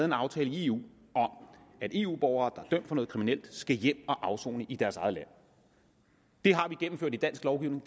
en aftale i eu om at eu borgere der er dømt for noget kriminelt skal hjem at afsone i deres eget land det har vi gennemført i dansk lovgivning